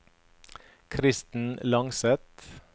Kristen Langseth